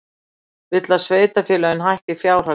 Vill að sveitarfélög hækki fjárhagsaðstoð